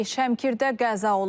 Şəmkirdə qəza olub.